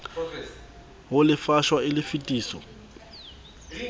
ho lefshwa e le tefiso